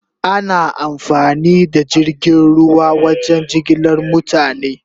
Ana amfani da jirgin ruwa wajen jigilar mutane